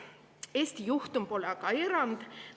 Eesti juhtum pole aga erand.